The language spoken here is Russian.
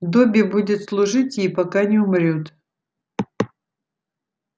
добби будет служить ей пока не умрёт